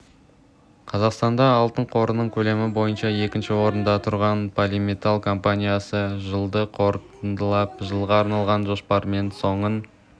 қазақстанда алтын қорының көлемі бойынша екінші орында тұрған полиметалл компаниясы жылды қорытындылап жылға арналған жоспарларымен соның